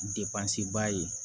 ba ye